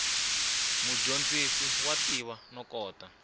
mudyondzi wa tiva no kota